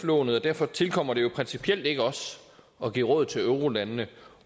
lånet og derfor tilkommer det principielt ikke os at give råd til eurolandene